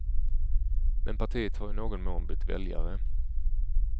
Men partiet har i någon mån bytt väljare.